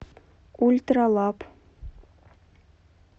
ультралаб